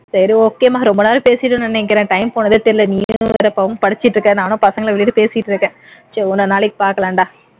சரி okay மா ரொம்ப நேரம் பேசிட்டேன்னு நினைக்கிறேன் time போனதே தெரியலை நீயும் வேற பாவம் படிச்சுட்டு இருக்க நானும் பசங்களை விட்டுட்டு பேசிட்டு இருக்கேன் சரி இன்னொரு நாளைக்கு பார்க்கலாம்டா